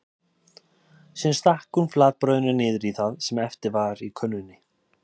Síðan stakk hún flatbrauðinu niður í það sem eftir var í könnunni.